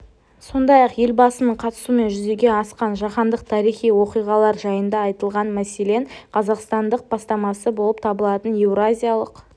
сондай-ақ елбасының қатысуымен жүзеге асқан жаһандық тарихи оқиғалар жайында айтылған мәселен қазақстандық бастама болып табылатын еуразиялық